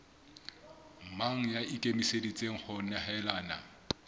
mang ya ikemiseditseng ho nehelana